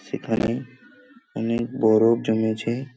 এখানে অনেক বরফ জমেছে।